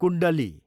कुण्डली